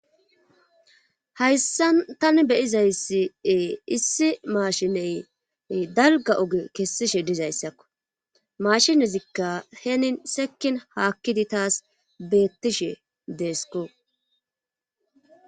Hayssa tani be'iza issi issi maashiney dalgga oge kessishe diza issakko. Mashinezikka henin sekin haakkidi taasi beettishe deesko.